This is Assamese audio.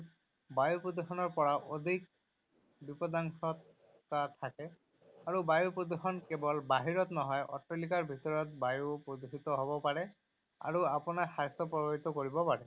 বায়ু প্ৰদূষণৰ পৰা অধিক বিপদাশংকা থাকে। আৰু বায়ু প্ৰদূষণ কেৱল বাহিৰত নহয়, অট্টালিকাৰ ভিতৰৰ বায়ুও প্ৰদূষিত হ’ব পাৰে আৰু আপোনাৰ স্বাস্থ্যপ্ৰভাৱিত কৰিব পাৰে।